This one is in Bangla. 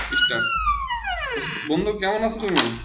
start বন্ধু কেমন আছো তুমি?